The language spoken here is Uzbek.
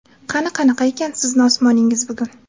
Qani qanaqa ekan sizni osmoningiz bugun.